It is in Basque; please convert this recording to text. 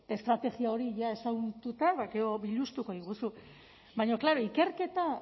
estrategia hori jada ezagututa ba gero biluztuko diguzu baina klaro ikerketa